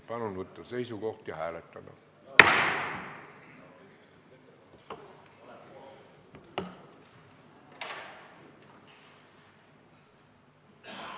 Palun võtta seisukoht ja hääletada!